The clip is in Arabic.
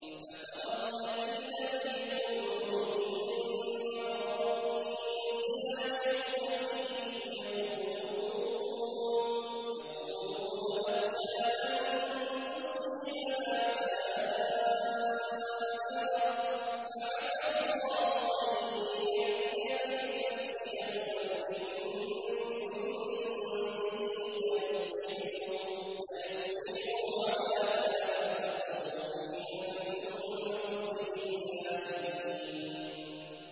فَتَرَى الَّذِينَ فِي قُلُوبِهِم مَّرَضٌ يُسَارِعُونَ فِيهِمْ يَقُولُونَ نَخْشَىٰ أَن تُصِيبَنَا دَائِرَةٌ ۚ فَعَسَى اللَّهُ أَن يَأْتِيَ بِالْفَتْحِ أَوْ أَمْرٍ مِّنْ عِندِهِ فَيُصْبِحُوا عَلَىٰ مَا أَسَرُّوا فِي أَنفُسِهِمْ نَادِمِينَ